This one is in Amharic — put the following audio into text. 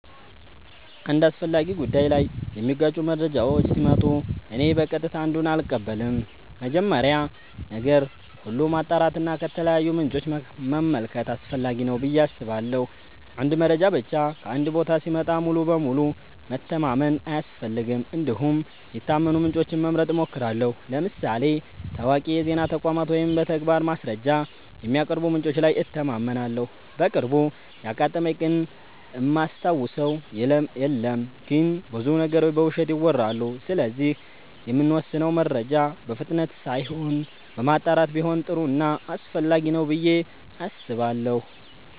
አንድ አስፈላጊ ጉዳይ ላይ የሚጋጩ መረጃዎች ሲመጡ እኔ በቀጥታ አንዱን አልቀበልም። መጀመሪያ ነገር ሁሉ ማጣራት እና ከተለያዩ ምንጮች መመልከት አስፈላጊ ነው ብዬ አስባለሁ። አንድ መረጃ ብቻ ከአንድ ቦታ ሲመጣ ሙሉ በሙሉ መተማመን አያስፈልግም እንዲሁም የታመኑ ምንጮችን መምረጥ እሞክራለሁ ለምሳሌ ታዋቂ የዜና ተቋማት ወይም በተግባር ማስረጃ የሚያቀርቡ ምንጮች ላይ እተማመናለሁ። በቅርቡ ያጋጠመኝ ግን እማስታውሰው የለም ግን ብዙ ነገሮች በውሸት ይወራሉ ስለዚህ የምንወስነው መረጃ በፍጥነት ሳይሆን በማጣራት ቢሆን ጥሩ ና አስፈላጊ ነው ብዬ አስባለሁ።